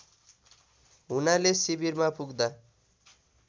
हुनाले शिविरमा पुग्दा